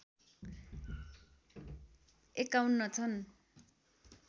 ५१ छन्